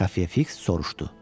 Xəfiyə Fiks soruşdu: